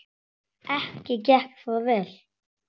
Ekki gekk það vel.